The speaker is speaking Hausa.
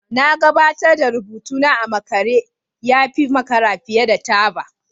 Na gabatar da rubutuna a makare ya fi makara fiye da taba